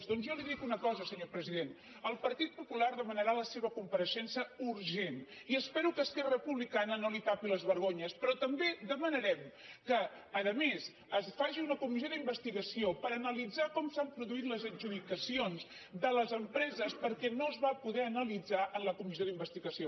doncs jo li dic una co·sa senyor president el partit popular demanarà la seva compareixença urgent i espero que esquerra republi·cana no li tapi les vergonyes però també demanarem que a més es faci una comissió d’investigació per ana·litzar com s’han produït les adjudicacions de les em·preses perquè no es va poder analitzar en la comissió d’investigació